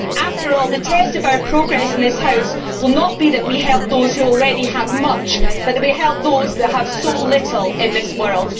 After all, the test of our progress in this House will not be that we helped those who already have much but that we helped those that have so little in this world.